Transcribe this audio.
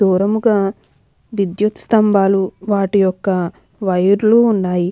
దూరంగా విద్యుత్ స్తంభాలు వాటి యొక్క వైర్ లు ఉన్నాయి.